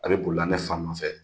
A bɛ bolila ne fa nɔfɛ